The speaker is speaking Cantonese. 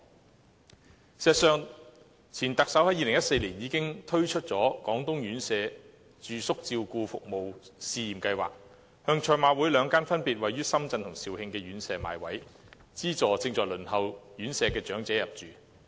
事實上，前特首在2014年已經推出了"廣東院舍住宿照顧服務試驗計劃"，向賽馬會兩間分別位於深圳及肇慶的院舍買位，資助正在輪候院舍的長者入住。